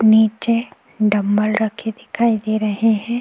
नीचे डंबल रखे दिखाई दे रहे हैं।